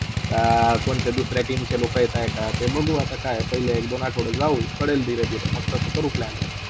अ. कोणत्या दुसऱ्या team च्या लोका इथे हाय का, ते बघू आता काय आता पहिले एक - दोन आठवडे जाऊ कडेळ धीरे - धीरे म तसाच करु planning